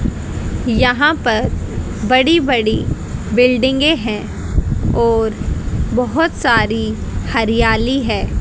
यहां पर बड़ी-बड़ी बिल्डिंगें है और बहुत सारी हरियाली है।